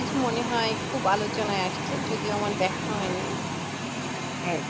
series মনে হয় খুব আলোচনায় আছে, যদিও আমার দেখা হয়নি। হ্যাঁ